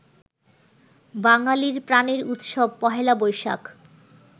বাঙালির প্রাণের উৎসব পহেলা বৈশাখ